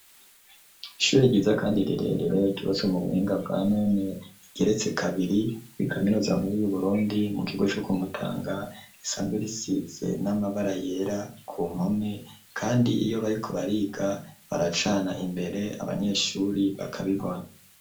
Ishu ryiza kandi rirerere, ryubatswe mu buhinga bwa none rigeretse kabiri, kuri kaminuza nkuru y'Uburundi mu kigo co ku Mutanga, risanzwe risize n'amabara yera ku mpome, kandi iyo bariko bariga baracana imbere abanyeshuri bakabibona.